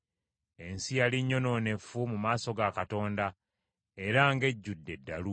Ensi yali nnyonoonefu mu maaso ga Katonda era ng’ejjudde eddalu.